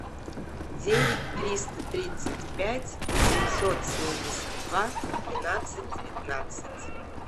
девять триста тридцать пять восемьсот семьдесят два тринадцать девятнадцать